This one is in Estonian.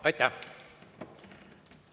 Aitäh!